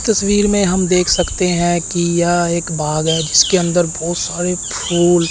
इस तस्वीर में हम देख सकते हैं कि यह एक बाग है जिसके अंदर बहोत सारे फूल--